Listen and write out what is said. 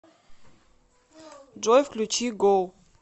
джой включи гоу